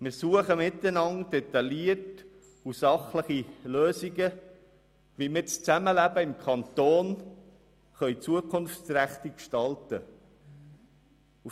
Wir suchen miteinander detaillierte, sachliche Lösungen, wie wir das Zusammenleben im Kanton zukunftsträchtig gestalten können.